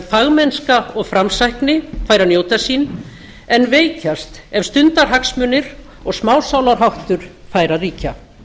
fagmennska og framsækni fær að njóta sín en veikjast ef stundarhagsmunir og smásálarháttur fær að ríkja